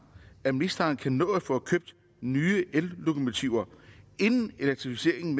at ministeren kan nå at få købt nye ellokomotiver inden elektrificeringen